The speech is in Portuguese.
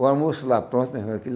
O almoço lá pronta mesmo aquilo.